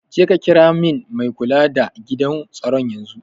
Jeka kira min mai kula da gidan tsaron yanzun.